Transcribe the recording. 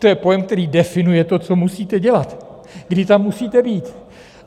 To je pojem, který definuje to, co musíte dělat, kdy tam musíte být.